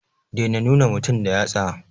Dai na nuna mutum da yatsa